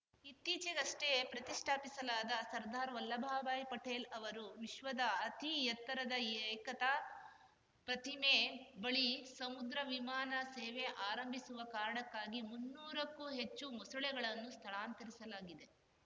ಇತ್ತೀಚೆಗಷ್ಟೆಪ್ರತಿಷ್ಠಾಪಿಸಲಾದ ಸರ್ದಾರ್‌ ವಲ್ಲಭಬಾಯಿ ಪಟೇಲ್‌ ಅವರ ವಿಶ್ವದ ಅತಿ ಎತ್ತರದ ಏಕತಾ ಪ್ರತಿಮೆ ಬಳಿ ಸಮುದ್ರ ವಿಮಾನ ಸೇವೆ ಆರಂಭಿಸುವ ಕಾರಣಕ್ಕಾಗಿ ಮುನ್ನೂರಕ್ಕೂ ಹೆಚ್ಚು ಮೊಸಳೆಗಳನ್ನು ಸ್ಥಳಾಂತರಿಸಲಾಗಿದೆ